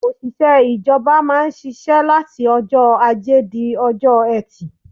Òṣìṣẹ́ ìjọba má ń ṣiṣẹ́ láti ọjọ́ ajé di ọjọ́ ẹtì.